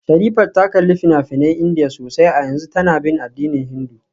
Sherifat ta kalli fina-finan Indiya sosai a yanzu tana bin addinin Hindu